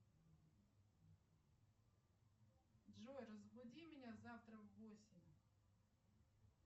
джой разбуди меня завтра в восемь